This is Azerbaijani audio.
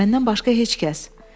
Məndən başqa heç kəs.